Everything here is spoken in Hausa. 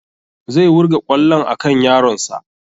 Zai wurga kwallon a kan yaron sa